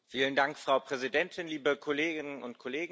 Frau Präsidentin, liebe Kolleginnen und Kollegen!